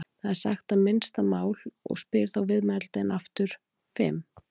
Það er sagt minnsta mál og spyr þá viðmælandinn aftur: Fimm?